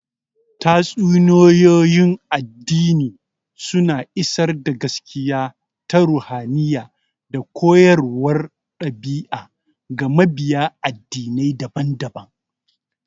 Tatsuniyoyin addini suna isar da gaskiya ta ruhaniya da koyarwar ɗabi'a ga mabiya addinai daban-daban.